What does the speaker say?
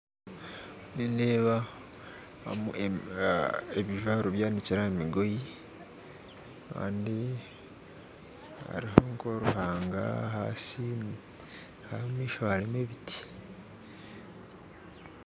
Nindeeba ebijwaro byanikire aha migoyi kandi haruho nk'oruhanga ahansi aho omumaisho harumu ebiti.